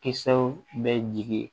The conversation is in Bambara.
Kisɛw bɛ jigi